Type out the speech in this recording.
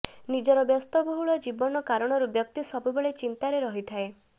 ନିଜର ବ୍ୟସ୍ତବହୁଳ ଜୀବନ କାରଣରୁ ବ୍ୟକ୍ତି ସବୁବେଳେ ଚିନ୍ତାରେ ରହିଥାଏ